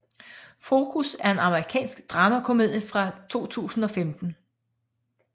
Focus er en amerikansk dramakomedie fra 2015